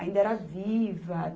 Ainda era viva.